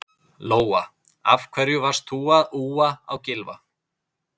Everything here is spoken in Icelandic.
Lóa: Af hverju varst þú að úa á Gylfa?